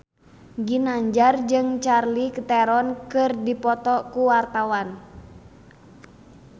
Ginanjar jeung Charlize Theron keur dipoto ku wartawan